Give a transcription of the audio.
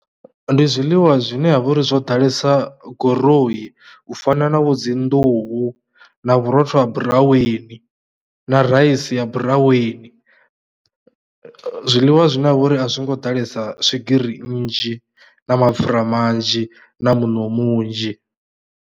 Ndi zwiḽiwa zwine ha vha uri zwo ḓalesa guroi u fana na vho dzinḓuhu na vhurotho ha buraweni na raisi ya buraweni, zwiḽiwa zwine ha vha uri a zwi ngo ḓalesa swigiri nnzhi na mapfhura manzhi na muṋo munzhi.